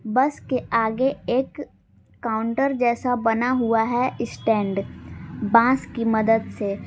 बस के आगे एक काउंटर जैसा बना हुआ है स्टैंड बांस की मदद से।